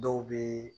Dɔw bɛ